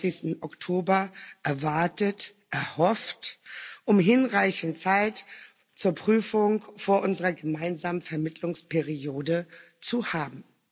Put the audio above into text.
31. Oktober erwartet, erhofft, um hinreichend Zeit zur Prüfung vor unserer gemeinsamen Vermittlungsperiode zu haben.